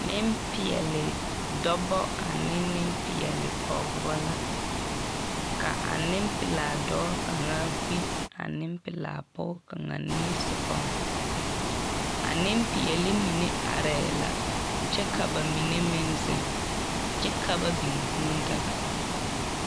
Nempeɛle, dɔbɔ ane nempeɛle pɔgebɔ la. Ka a nempelaa dɔɔ kaŋa gbi a nempelaa pɔge kaŋa nimmisogɔŋ. A nempeɛle mine arɛɛ la kyɛ ka mine meŋ zeŋ, kyɛ ka ba biŋ kūū daga.